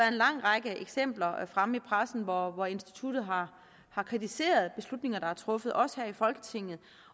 en lang række eksempler fremme i pressen hvor instituttet har har kritiseret beslutninger der er blevet truffet også her i folketinget